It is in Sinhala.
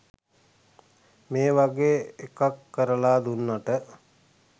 මේ වගේ එකක් කරලා දුන්නට